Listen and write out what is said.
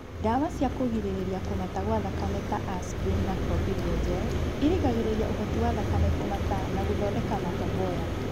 Ndawa cia kũrigĩrĩria kũmata gwa thakame ta aspirin na clopidogrel irigagĩrĩria ũhoti wa thakame kũmata na gũthondeka matomboya